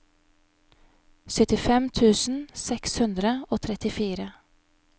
syttifem tusen seks hundre og trettifire